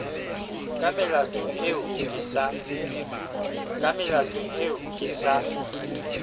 ka melato eo ke sa